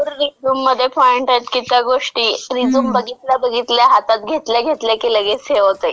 अजून भरपूर रिझ्यूममध्ये पॉइंट आहेत, की त्या गोष्टी रिझ्यूम बघितल्या बघितल्या, हातात घेतल्या घेतल्या की लगेच हे होतंय.